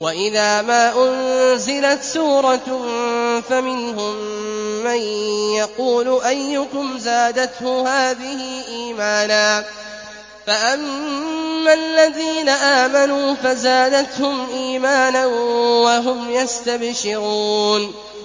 وَإِذَا مَا أُنزِلَتْ سُورَةٌ فَمِنْهُم مَّن يَقُولُ أَيُّكُمْ زَادَتْهُ هَٰذِهِ إِيمَانًا ۚ فَأَمَّا الَّذِينَ آمَنُوا فَزَادَتْهُمْ إِيمَانًا وَهُمْ يَسْتَبْشِرُونَ